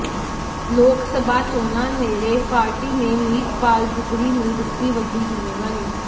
ਲੋਕਸਭਾ ਚੋਣਾਂ ਨੇੜੇ ਪਾਰਟੀ ਨੇ ਮੀਤਪਾਲ ਦੁਗਰੀ ਨੂੰ ਦਿੱਤੀ ਵੱਡੀ ਜਿੰਮੇਵਾਰੀ